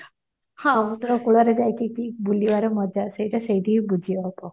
ସମୁଦ୍ର କୂଳରେ ରହିକି ବୁଲିବାର ମଜା ସେଇଟା ସେଇଠି ହିଁ ବୁଝିହବ